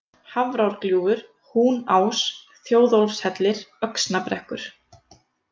Hafrárgljúfur, Húnás, Þjóðólfshellir, Öxnabrekkur